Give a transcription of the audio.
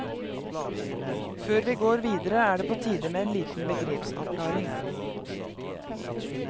Før vi går videre er det på tide med en liten begrepsavklaring.